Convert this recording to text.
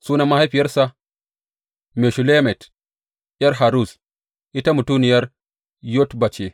Sunan mahaifiyarsa Meshullemet ’yar Haruz; ita mutuniyar Yotba ce.